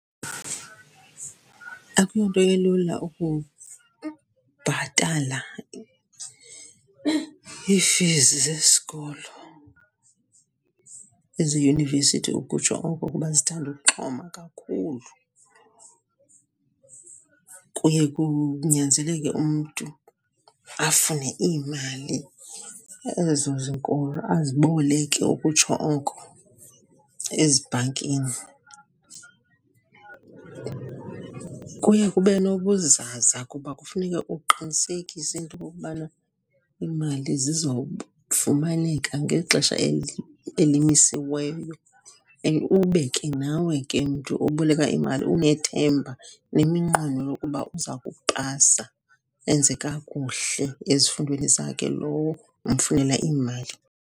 Akuyonto ilula ukubhatala ii-fees zesikolo, eziyunivesithi ukutsho oko, kuba zithanda ukuxhoma kakhulu. Kuye kunyanzeleke umntu afune iimali ezo zinkulu, aziboleke ukutsho oko ezibhankini. Kuye kube nobuzaza kuba kufuneka uqinisekise into okokubana iimali zizofumaneka ngexesha elimisiweyo. And ube ke nawe ke mntu oboleka imali unethemba neminqweno yokuba uza kupasa, enze kakuhle ezifundweni zakhe lowo umfunela imali.